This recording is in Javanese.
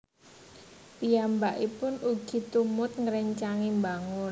Piyambakipun ugi tumut ngréncangi mbangun